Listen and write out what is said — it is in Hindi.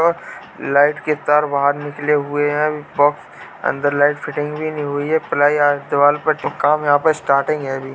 लाइट के तार बाहर निकले हुए हैं। बॉक्स अंदर लाइट फिटिंग भी नहीं हुई है। प्लाई यहाँ पर स्टार्टिंग है अभी।